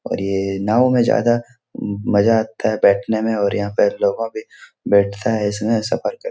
और ये नाँव में ज्यादा मज़ा आता है बैठने में और यह पर लोग के बैठता है इसमें सफर कर --